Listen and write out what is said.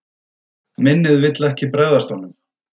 Minnið vill ekki bregðast honum.